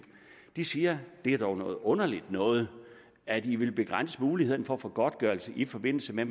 de siger det er dog noget underligt noget at i vil begrænse mulighederne for at få godtgørelse i forbindelse med